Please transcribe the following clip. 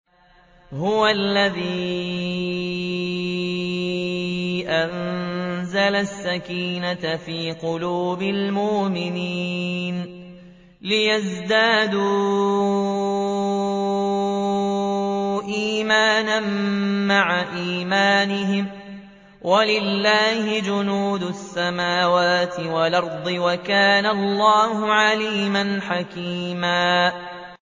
هُوَ الَّذِي أَنزَلَ السَّكِينَةَ فِي قُلُوبِ الْمُؤْمِنِينَ لِيَزْدَادُوا إِيمَانًا مَّعَ إِيمَانِهِمْ ۗ وَلِلَّهِ جُنُودُ السَّمَاوَاتِ وَالْأَرْضِ ۚ وَكَانَ اللَّهُ عَلِيمًا حَكِيمًا